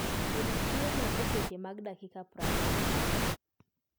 Ted chiemo e seche mag dakika prariyo